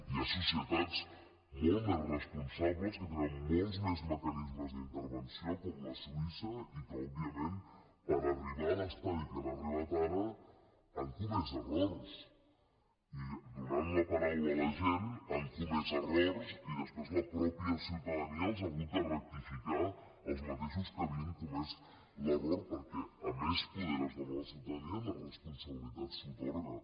hi ha societats molt més responsables que tenen molts més mecanismes d’intervenció com la suïssa i que òbviament per arribar a l’estadi a què han arribat ara han comès errors i donant la paraula a la gent han comès errors i després la mateixa ciutadania els ha hagut de rectificar als mateixos que han comès l’error perquè com més poder es dóna a la ciutadania més responsabilitat s’atorga